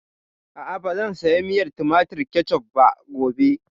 A'a, ba zan saya miyar tumatir (Ketchup) ba gobe